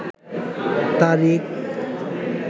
তারিখ